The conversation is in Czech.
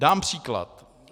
Dám příklad.